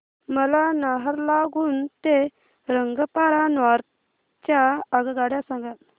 मला नाहरलागुन ते रंगपारा नॉर्थ च्या आगगाड्या सांगा